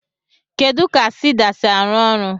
Kedu ka siida si arụ ọrụ?